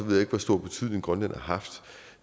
jeg ikke hvor stor betydning grønland har haft